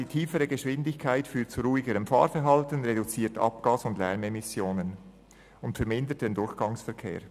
«Die tiefere Geschwindigkeit führt zu ruhigerem Fahrverhalten, reduziert Abgas- und Lärmemissionen und vermindert den Durchgangsverkehr.»